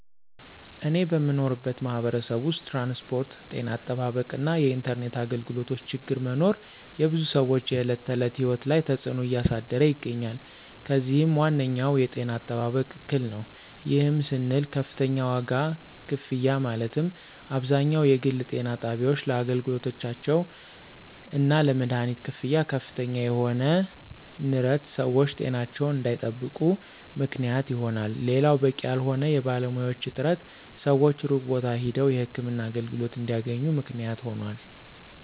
እኔ በምኖርበት ማህበረሰብ ውስጥ ትራንስፖርት፣ ጤና አጠባበቅ እና የኢንተርኔት አገልግሎቶ ችግር መኖር የብዙ ሰወች የዕለት ተዕለት ህይወት ላይ ተፅዕኖ እያሳደረ ይገኛል። ከዚህም ዋነኛው የጤና አጠባበቅ እክል ነው። ይህም ስንል ከፍተኛ ዋጋ ክፍያ ማለትም አብዛኛው የግል ጤና ጣቢያወች ለአገልግሎታቸው እና ለመደሀኒት ክፍያ ከፍተኛ የሆነ ንረት ሰወች ጤናቸውን እንዳይጠብቁ ምክንያት ይሆናል። ሌላው በቂ ያልሆነ የባለሙያዎች እጥረት ሰወች ሩቅ ቦታ ሄደው የህክምና አገልግሎት እንዲያገኙ ምክንያት ሆኗል።